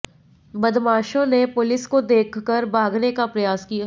बदमाशों ने पुलिस को देखकर भागने का प्रयास किया